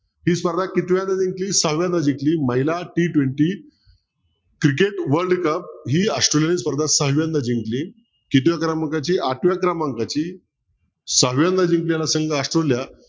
ही स्पर्धा कितव्यांदा जिंकली. सहाव्यांदा जिंकली महिला t twenty cricket world cup ही ऑस्ट्रेलियाने स्पर्धा सहाव्यांदा जिंकली कितव्या क्रमांकाची आठव्या क्रमांकाची सहाव्यांदा जिंकली असेल ऑस्ट्रेलिया